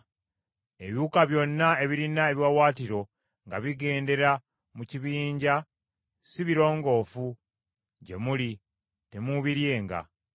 Ebiwuka byonna ebirina ebiwaawaatiro nga bigendera mu kibinja si birongoofu gye muli, temuubiryenga.